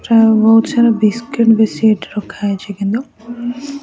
ପ୍ରାୟ ବହୁତ ସାରା ବିସ୍କୁଟ ବେଶୀ ଏଠି ରଖା ହେଇଛି କିନ୍ତୁ --